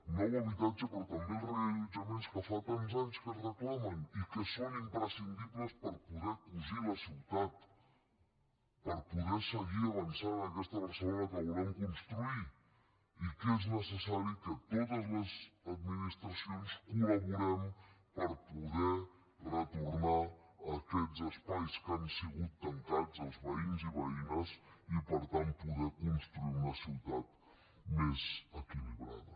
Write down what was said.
nou habitatge però també els reallotjaments que fa tants anys que es reclamen i que són imprescindibles per poder cosir la ciutat per poder seguir avançant en aquesta barcelona que volem construir i que és necessari que totes les administracions col·laborem per poder retornar aquests espais que han sigut tancats als veïns i veïnes i per tant poder construir una ciutat més equilibrada